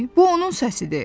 Bu onun səsidir.